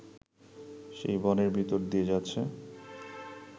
সেই বনের ভিতর দিয়ে যাচ্ছে